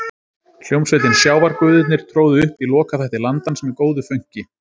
Hljómsveitin Sjávarguðirnir tróðu upp í lokaþætti Landans með góðu fönki.